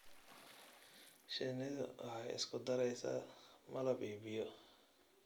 Shinnidu waxay isku daraysaa malab iyo biyo.